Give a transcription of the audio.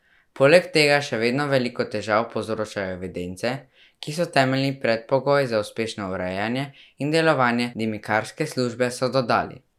Poleg tega še vedno veliko težav povzročajo evidence, ki so temeljni predpogoj za uspešno urejanje in delovanje dimnikarske službe, so dodali.